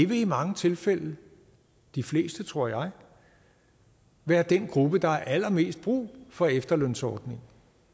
vil i mange tilfælde de fleste tror jeg være den gruppe der har allermest brug for efterlønsordningen